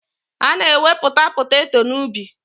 Ana ewepụta poteto na ubi.